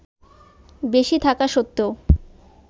বেশি থাকা সত্ত্বেও